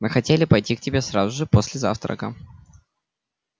мы хотели пойти к тебе сразу же после завтрака